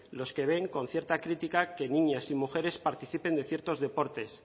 los que ven con cierta crítica que niñas y mujeres participen en ciertos deportes